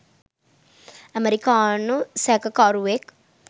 ඇමරිකානු සැකකරුවෙක්.